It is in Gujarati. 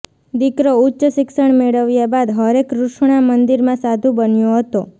દીકરો ઉચ્ચશિક્ષણ મેળવ્યા બાદ હરેકૃષ્ણા મંદિરમાં સાધુ બન્યો હતો